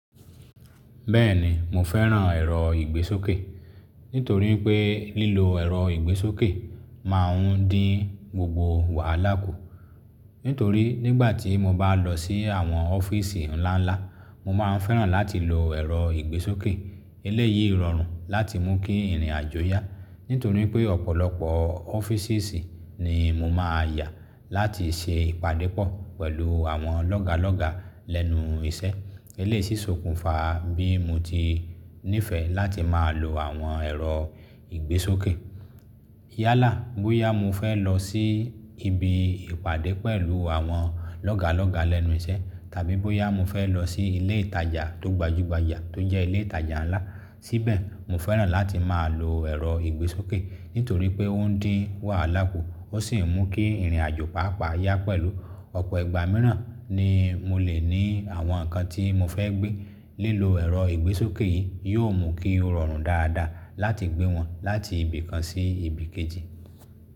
Bẹ́ẹ̀ni mo fẹ́ràn ẹ̀rọ ìgbésókè, nítorí pé lílo ẹ̀rọ ìgbésókè máà ń dín gbogbo wàhálà kù. Nítorí nígbà tí mo bá lọ sí àwọn ọ́fíìsì ńlá ńlá, mo máa ń fẹ́ràn láti lo ẹ̀rọ ìgbésókè eléyìí rọrùn láti mú kí ìrìnàjò yá. Nítorí pé ọ̀pọ̀lọpọ̀ ọ́ffices ni mo máa yà láti ṣe ìpàdé pọ̀ pẹ̀lú àwọn lọ́ga lọ́ga lẹ́nu iṣẹ́. Eléyìí ṣòkùnfà bí mo ti nífẹ̀ẹ́ láti máa lo àwọn ẹ̀rọ ìgbésókè. Yálà bóyá mo fẹ́ lọ sí ibi ìpàdé pẹ̀lú àwọn lọ́ga lọ́ga lẹ́nu iṣẹ́ tàbí bóyá mo fẹ́ lọ sí ilé ìtajà tó gbajúgbajà tó jẹ́ ilé ìtajà ńlá, síbẹ̀ mo fẹ́ràn láti máa lo ẹ̀rọ ìgbésókè nítorí pé ó ń dín wàhálà kù ó sì ń mú kí ìrìnàjò pàápàá yá pẹ̀lú. Ọ̀pọ̀ ìgbà mìíràn ni mo lè ní àwọn nǹkan tí mo fẹ́ gbé. Lílo ẹ̀rọ ìgbésókè yìí yóò mú kí ó rọrùn dáadáa láti gbé wọn láti ibì kan sí ibì kejì.